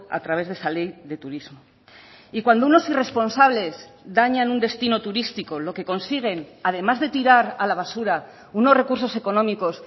a través de esa ley de turismo y cuando unos irresponsables dañan un destino turístico lo que consiguen además de tirar a la basura unos recursos económicos